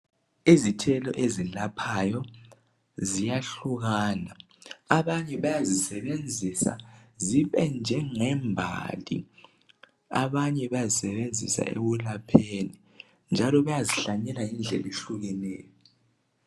Izithelo ezilaphayo ziyahlukana. Abanye bayazisebenzisa zibe njengembali. Abanye bayazisebenzisa ekulapheni njalo bayazihlanyela ngendlela ehlukeneyo.